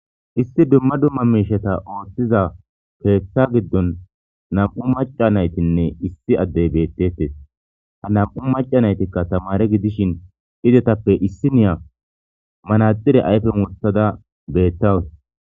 Isti dumma dumma miisheta ooththiza keeththa giddon nam7u maca naytinne issi addey beettettes ha nam7u maca naytikka tamare gidishin idetappe issi niya manaxire ayfen murtada beettawus.